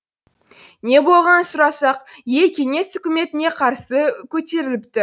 не болғанын сұрасақ ел кеңес үкіметіне қарсы көтеріліпті